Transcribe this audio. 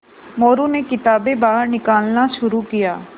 मोरू ने किताबें बाहर निकालना शुरू किया